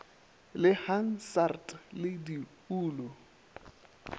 le hansard le di nlu